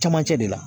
Camancɛ de la